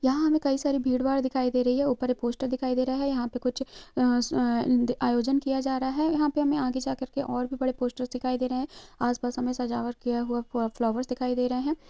यहाँ हमे कही सारी भीड़ भाड़ दिखाई दे रही है ऊपर एक पोस्टर दिखाई दे रहा है यहाँ पे कुछ अ-अ-आयोजन किये जा रहा है यहाँ पे हमे आगे जा करके और भी बड़े पोस्टरस दिखाई दे रहे है आसपास हमे सजावट किये हुआ फा-फ्लॉवरस दिखाई दे रहे है।